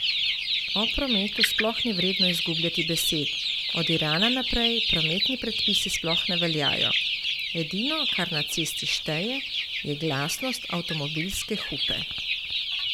O prometu sploh ni vredno izgubljati besed, od Irana naprej prometni predpisi sploh ne veljajo, edino, kar na cesti šteje, je glasnost avtomobilske hupe.